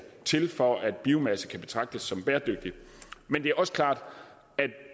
til for at biomasse kan betragtes som bæredygtigt men det er også klart